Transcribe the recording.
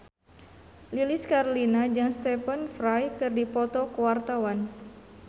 Lilis Karlina jeung Stephen Fry keur dipoto ku wartawan